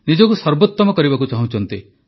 ନିଜକୁ ସର୍ବୋତମ କରିବାକୁ ଚାହୁଁଛନ୍ତି